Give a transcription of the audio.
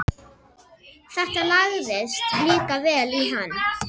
Þetta lagðist líka vel í hann.